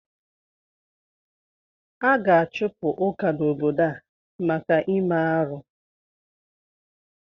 A ga-achụpụ Ụka n'obodo a maka ime arụ.